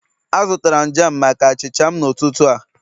Azụtara m jam maka achịcha m n'ụtụtụ a